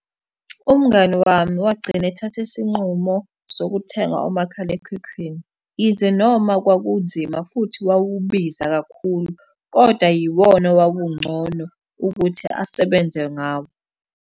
Umngani wami wagcina ethathe isinqumo sokuthenga umakhalekhukhwini. Yize noma kwakunzima, futhi wawubiza kakhulu, kodwa yiwona owawungcono ukuthi asebenze ngawo.